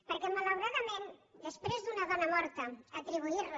perquè malauradament després d’una dona morta atribuir la